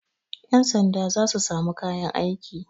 Yansanda za su sami kayan aiki.